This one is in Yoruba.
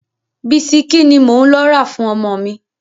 Bisikí ni mò ń lọ rà fún ọmọ mi.